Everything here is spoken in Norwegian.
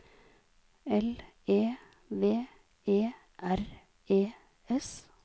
L E V E R E S